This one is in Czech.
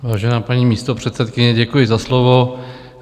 Vážená paní místopředsedkyně, děkuji za slovo.